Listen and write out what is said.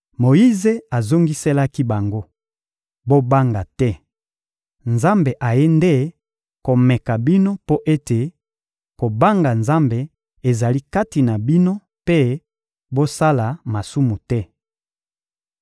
Moyize azongiselaki bango: — Bobanga te! Nzambe ayei nde komeka bino mpo ete kobanga Nzambe ezala kati na bino mpe bosala masumu te.